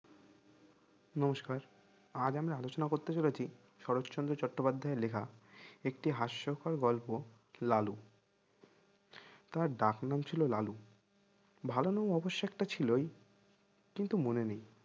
নমস্কার আজ আমি আলোচনা করতে চলেছি শরৎচন্দ্র চট্টোপাধ্যায়ের লেখা একটি হাস্যকর গল্প লালু তো ওর ডাক নাম ছিল লালু ভালো নাম অবশ্যই একটা ছিলই কিন্তু মনে নেয়